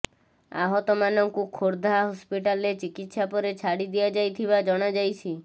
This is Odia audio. ଆହତମାନଙ୍କୁ ଖୋର୍ଧା ହସ୍ପିଟାଲରେ ଚିକିତ୍ସା ପରେ ଛାଡ଼ି ଦିଆଯାଇଥିବା ଜଣାଯାଇଛି